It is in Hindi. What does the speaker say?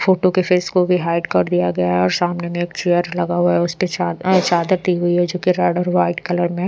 फोटो के फेस को भी हाइड कर दिया गया है और सामने में एक चेयर लगा हुआ है उस पे चाद चादर दी हुई है जो कि रेड और व्हाइट कलर में--